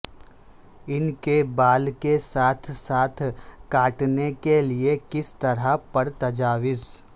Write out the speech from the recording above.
ان کے بال کے ساتھ ساتھ کاٹنے کے لئے کس طرح پر تجاویز